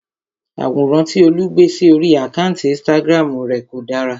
Àwòrán tí Olú gbé sí orí àkántì Instagram rè kò dára.